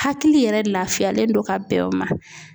Hakili yɛrɛ lafiyalen don ka bɛn o ma.